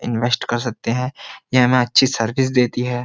Invest कर सकते हैं ये हमें अच्छी सर्विस देती है।